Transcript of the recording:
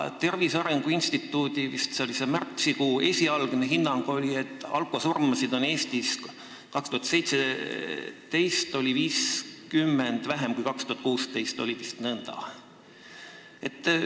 Tervise Arengu Instituudi esialgne hinnang oli, et alkosurmasid oli Eestis 2017. aastal 50 võrra vähem kui 2016. aastal – oli vist nõnda.